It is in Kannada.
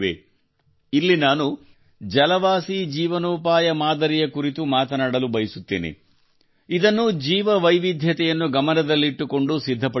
ಇಲ್ಲಿ ನಾನು ಜಲವಾಸಿ ಜೀವನೋಪಾಯ ಮಾದರಿ ಯ ಕುರಿತು ಮಾತನಾಡಲು ಬಯಸುತ್ತೇನೆ ಇದನ್ನು ಜೀವವೈವಿಧ್ಯತೆಯನ್ನು ಗಮನದಲ್ಲಿಟ್ಟುಕೊಂಡು ಸಿದ್ಧಪಡಿಸಲಾಗಿದೆ